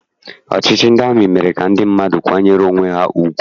Ọchịchị ndị amị mere ka ndị mmadụ kwanyere onwe ha ugwu.